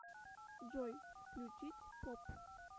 джой включить поп